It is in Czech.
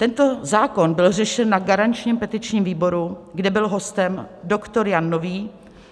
Tento zákon byl řešen na garančním petičním výboru, kde byl hostem doktor Jan Nový,